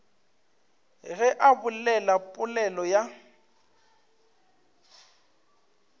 ge a bolela polelo ya